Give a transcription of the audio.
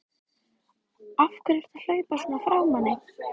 AF HVERJU ERTU AÐ HLAUPA SVONA FRÁ MANNI!